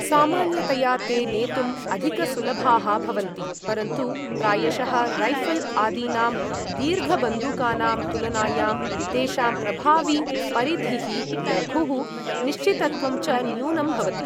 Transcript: सामान्यतया ते नेतुम् अधिकसुलभाः भवन्ति, परन्तु प्रायशः रैऴल् आदीनां दीर्घबन्दूकानां तुलनायां तेषां प्रभावीपरिधिः लघुः, निश्चितत्वं च न्यूनं भवति।